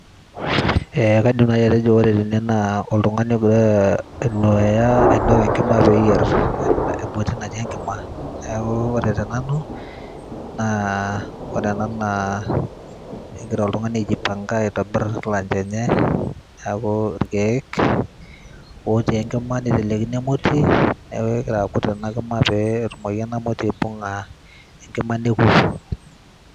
eh, kaidim naji atejo ore tene naa oltung'ani ogira ainuaya ainok enkima peyierr emoti natii enkima niaku ore tenanu naa ore ena naa egira oltung'ani aijipanga aitobirr lunch enye neaku irkeek otii enkima nitelekino emoti neeku kegira akut ena kima pee etumoki ena moti aibung'a enkima neku.